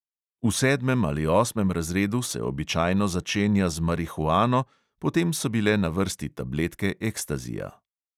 V sedmem ali osmem razredu se običajno začenja z marihuano, potem so bile na vrsti tabletke ekstazija.